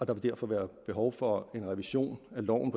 punkt derfor være behov for en revision af loven